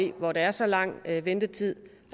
i hvor der er så lang ventetid